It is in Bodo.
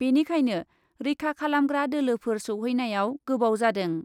बेनिखायनो रैखा खालामग्रा दोलोफोर सौहैनायाव गोबाव जादों ।